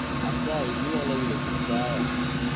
Asayi inyalo wilo kit taya